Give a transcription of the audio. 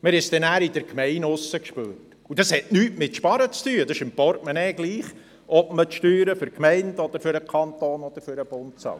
Wir haben es nachher draussen in der Gemeinde zu spüren bekommen.